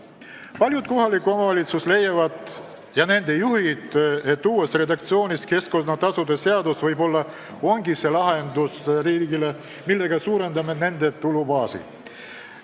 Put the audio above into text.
Paljud kohalikud omavalitsused ja nende juhid leiavad, et keskkonnatasude seaduse uus redaktsioon võib-olla ongi see lahendus, mille abil saab suurendada nende tulubaasi.